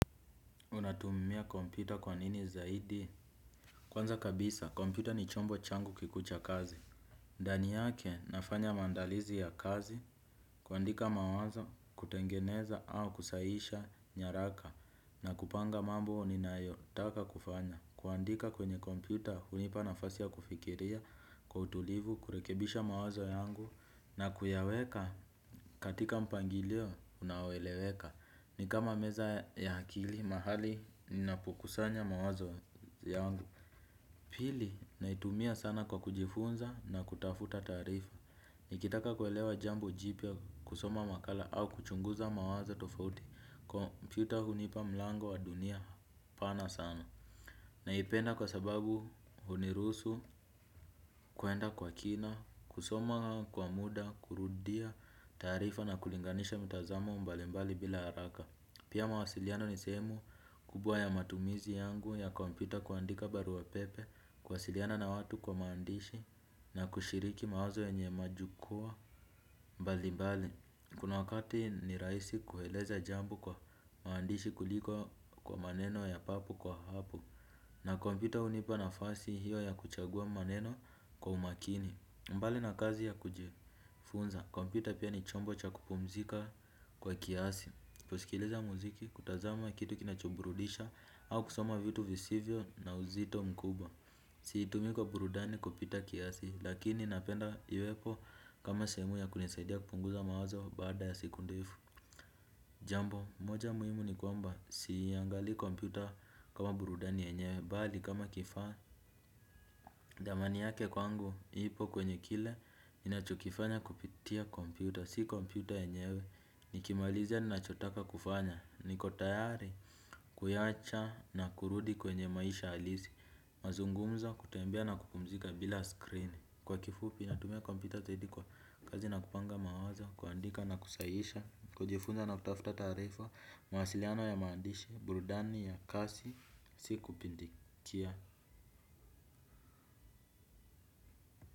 Unatumumia kompyuta kwa nini zaidi? Kwanza kabisa, kompita ni chombo changu kikucha kazi. Dani yake nafanya maandalizi ya kazi, kuandika mawazo kutengeneza au kusahisha nyaraka na kupanga mambo ninayo taka kufanya. Kuandika kwenye kompyuta hunipa nafasi ya kufikiria kwa utulivu, kurekebisha mawazo yangu na kuyaweka katika mpangilio unaoeleweka. Ni kama meza ya akili mahali napokusanya mawazo yangu. Pili naitumia sana kwa kujifunza na kutafuta taarifa. Nikitaka kuelewa jambo jipya kusoma makala au kuchunguza mawazo tofauti Computer hunipa mlango wa dunia pana sana. Naipenda kwa sababu uniruhusu kuenda kwa kina. Kusoma kwa muda, kurudia taarifa na kulinganisha mitazamo mbalimbali bila haraka. Pia mawasiliano ni sehemu kubwa ya matumizi yangu ya kompyuta kuandika barua pepe, kuwasiliana na watu kwa maandishi na kushiriki mawazo yenye majukuwa mbali mbali. Kuna wakati ni raisi kueleza jambo kwa maandishi kuliko kwa maneno ya papo kwa hapo na kompyuta unipa nafasi hiyo ya kuchagua maneno kwa umakini mbali na kazi ya kujifunza. Kompyuta pia ni chombo cha kupumzika kwa kiasi kusikiliza muziki kutazama kitu kinachoburudisha au kusoma vitu visivyo na uzito mkubwa. Si itumii kwa burudani kupita kiasi. Lakini napenda iwepo kama sehemu ya kunisaidia kupunguza mawazo baada ya siku ndefu. Jambo, moja muhimu ni kwamba siyangali kompyuta kama burudani yenyewe bali kama kifaa. Dhamani yake kwangu ipo kwenye kile nachokifanya kupitia kompyuta. Si computer yenyewe, nikimalizia ninachotaka kufanya. Nikotayari, kuyacha na kurudi kwenye maisha alisi. Mazungumzo kutembea na kupumzika bila screen. Kwa kifupi natumia computer zaidi kwa kazi na kupanga mawazo. Kuandika na kusayisha, kujifunza na kutafuta taarifa. Mawasiliano ya maandishi, burudani ya kasi, si kupindikia.